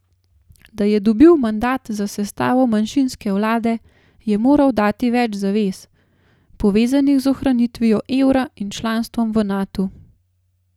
Da je dobil mandat za sestavo manjšinske vlade, je moral dati več zavez, povezanih z ohranitvijo evra in članstvom v Natu.